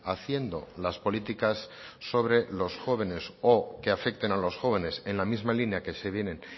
haciendo las políticas sobre los jóvenes o que afecten a los jóvenes en la misma línea que se vienen